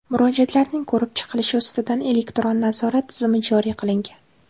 Murojaatlarning ko‘rib chiqilishi ustidan elektron nazorat tizimi joriy qilingan.